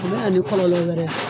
o bɛ na ni kɔlɔlɔ wɛrɛ ye.